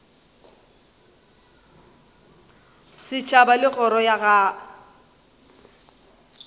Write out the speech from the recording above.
setšhaba le kgoro ya go